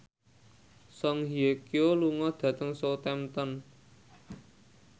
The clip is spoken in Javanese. Song Hye Kyo lunga dhateng Southampton